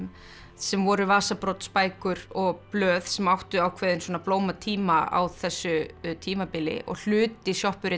sem voru og blöð sem áttu ákveðinn blómatíma á þessu tímabili og hluti